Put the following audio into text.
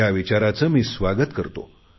या विचाराचे मी स्वागत करतो